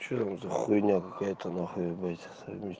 что там за хуйня какая то на хуй блядь заебись